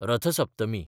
रथ सप्तमी